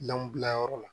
Lɔnbilayɔrɔ la